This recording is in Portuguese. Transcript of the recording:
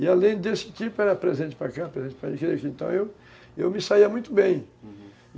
E, além desse tipo, era presente para cá, presente para aquele... Então, eu eu me saía muito bem, uhum